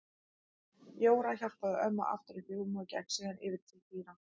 Jóra hjálpaði ömmu aftur upp í rúmið og gekk síðan yfir til Týra.